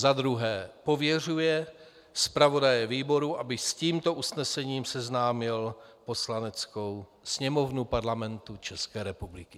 Za druhé pověřuje zpravodaje výboru, aby s tímto usnesením seznámil Poslaneckou sněmovnu Parlamentu České republiky.